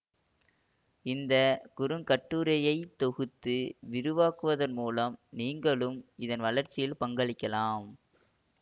இந்த குறுங்கட்டுரையை தொகுத்து விரிவாக்குவதன் மூலம் நீங்களும் இதன் வளர்ச்சியில் பங்களிக்கலாம்